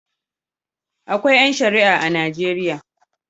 Akwai ƴan Shi'a a Najeriya.